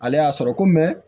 Ale y'a sɔrɔ ko